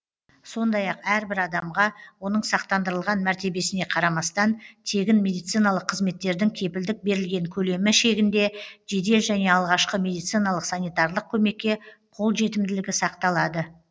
сондай ақ әрбір адамға оның сақтандырылған мәртебесіне қарамастан тегін медициналық қызметтердің кепілдік берілген көлемі шегінде жедел және алғашқы медициналық санитарлық көмекке қолжетімділігі сақталады